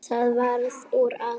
Það varð úr að